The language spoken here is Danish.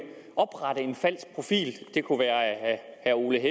falsk profil det kunne være af herre ole